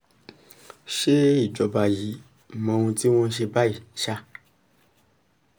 ṣe ìjọba yìí mọ ohun tí wọ́n ń ṣe báyìí ṣá